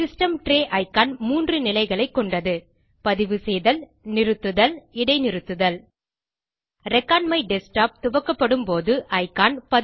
system tray icon 3 நிலைகளைக் கொண்டது பதிவு செய்தல் நிறுத்துதல் இடைநிறுத்துதல் ரெக்கார்ட்மைடஸ்க்டாப் துவக்கப்படும்போது இக்கான்